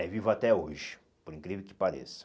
É vivo até hoje, por incrível que pareça.